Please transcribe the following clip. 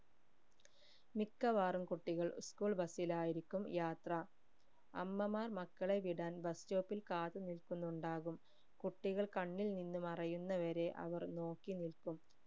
മിക്കവാറും കുട്ടികൾ school bus ലായിരിക്കും യാത്ര അമ്മമാർ മക്കളെ വിടാൻ bus stop ഇൽ കാത്തുനിൽക്കുന്നുണ്ടാകും കുട്ടികൾ കണ്ണിൽ നിന്നും മറയുന്ന വരെ അവർ നോക്കിനില്ക്കും